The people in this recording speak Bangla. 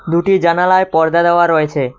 দুটি জানালায় পর্দা দেওয়া রয়েছে।